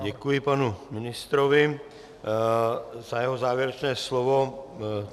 Děkuji panu ministrovi za jeho závěrečné slovo.